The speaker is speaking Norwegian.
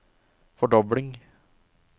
fordobling